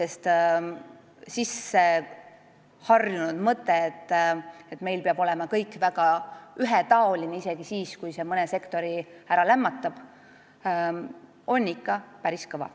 Sisseharjunud mõte, et meil peab kõik olema väga ühetaoline – isegi siis, kui see mõne sektori ära lämmatab –, on ikka päris kõva.